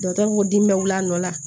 Dɔkitɛriw ko dimi bɛ wili a nɔ la